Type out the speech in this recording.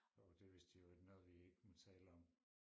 Åh det vist i øvrigt noget vi ikke må tale om